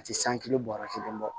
A tɛ san kelen bɔɔrɔ kelen bɔ